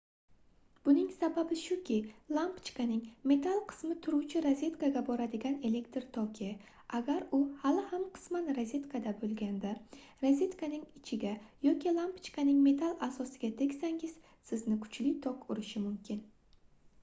buning sababi shuki lampochkaning metall qismi turuvchi rozetkaga boradigan elektr toki agar u hali ham qisman rozetkada boʻlganda rozetkaning ichiga yoki lampochkaning metall asosiga tegsangiz sizni kuchli tok urishi mumkin